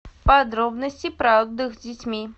подробности про отдых с детьми